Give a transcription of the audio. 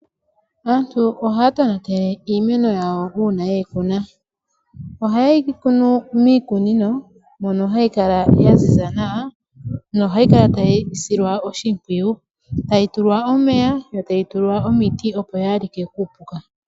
Aantu ohaya tonatele iimeno yawo uuna ye yi kuna. Ohaye yi kunu miikunino, mono hayi kala yaziza nawa, nohayi kala tayi silwa oshimpwiyu. Tayi tulwa omeya, yo tayi tulwa omiti, opo yaalike kuupuka.